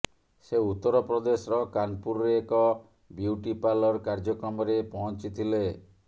ସେ ଉତ୍ତରପ୍ରଦେଶର କାନପୁରରେ ଏକ ବ୍ୟୁଟି ପାର୍ଲର କାର୍ଯ୍ୟକ୍ରମରେ ପହଁଚିଥିଲେ